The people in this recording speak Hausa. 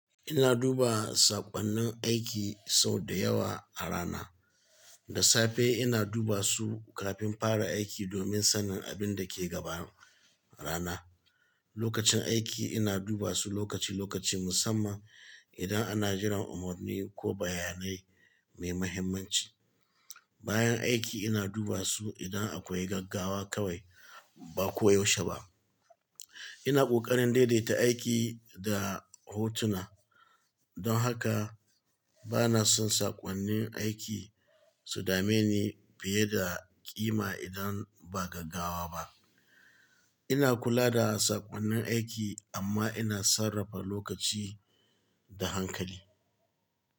Ina duba saƙonnin aiki sau da yawa a rana. Da safe ina duba su kafin fara aiki domin sanin abin da ke gaban rana. Lokacin aiki ina duba su lokaci-lokaci musamman idan ana jiran umarni ko bayanai mai muhimmanci. Bayan aiki ina duba su idan akwai gaggawa kawai ba ko yaushe ba. Ina ƙoƙarin daidaita aiki da hotuna, don haka ba na son saƙonnin aiki su dame ni fiye da ƙima idan ba gaggawa ba. Ina kula da saƙonnin aiki amma ina sarrafa lokaci da hankali.